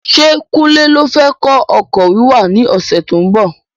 Ṣé kunle ló fẹ kọ́ ọkọ̀ wíwà ní ọsẹ tó ń bọ̀?